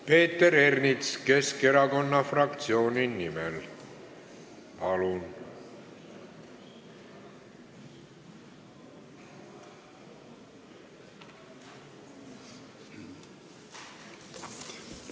Peeter Ernits Keskerakonna fraktsiooni nimel, palun!